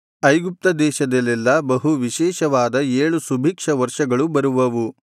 ಐಗುಪ್ತ ದೇಶದಲ್ಲೆಲ್ಲಾ ಬಹು ವಿಶೇಷವಾದ ಏಳು ಸುಭಿಕ್ಷ ವರ್ಷಗಳೂ ಬರುವವು